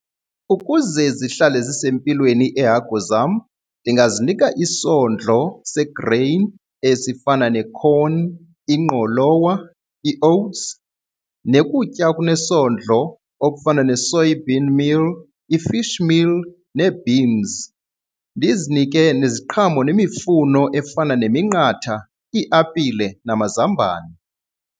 Ukuze zihlale zisempilweni iihagu zam ndingazinika isondlo segreyini esifana ne-corn, ingqolowa, i-oats nokutya okunesondlo okufana nee-soybean meal, i-fish meal nee-beans. Ndizinike neziqhamo nemifuno efana neminqatha, iiapile namazambane.